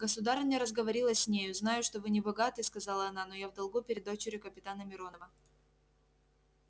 государыня разговорилась с нею знаю что вы не богаты сказала она но я в долгу перед дочерью капитана миронова